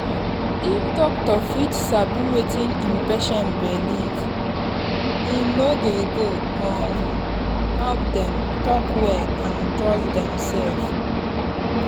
if doctor fit sabi wetin en patient believe[um]e go um help them talk well and trust demsef.